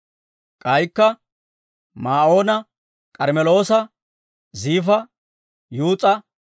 K'aykka Maa'oona, K'armmeloosa, Ziifa, Yuus'a,